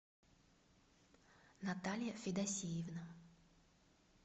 наталья федосеевна